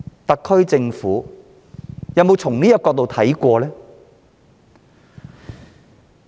特區政府有否從這個角度思考過？